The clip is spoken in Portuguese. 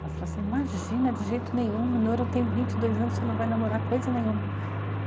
Ela falou assim: imagina, de jeito nenhum, o Minoru tem vinte e dois anos, você não vai namorar coisa nenhuma.